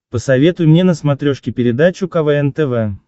посоветуй мне на смотрешке передачу квн тв